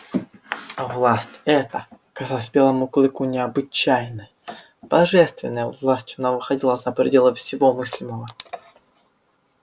власть эта казалась белому клыку необычайной божественной властью она выходила за пределы всего мыслимого